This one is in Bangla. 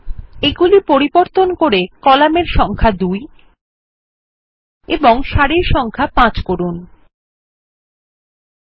এগুলি পরিবর্তন করে কলামের সংখ্যা ২ এবং সারির সংখ্যা ৫ করা যাক